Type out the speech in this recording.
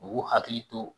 U k'u hakili to